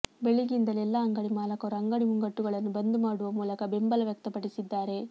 ಬೆಳಿಗ್ಗೆಯಿಂದಲೇ ಎಲ್ಲಾ ಅಂಗಡಿ ಮಾಲಕರು ಅಂಗಡಿ ಮುಂಗಟ್ಟುಗಳನ್ನು ಬಂದ್ ಮಾಡುವ ಮೂಲಕ ಬೆಂಬಲ ವ್ಯಕ್ತಪಡಿಸಿದ್ದಾರೆ